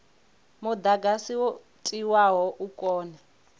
mudagasi wo tiwaho u kone